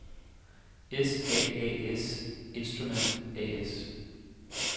S.A.A.S.Instrument A/S